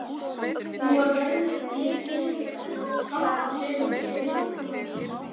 Hún var jörðuð í litlum kirkjugarði skammt frá sumarhúsi fjölskyldunnar.